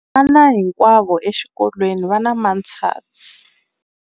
Vana hinkwavo exikolweni va na matshansi.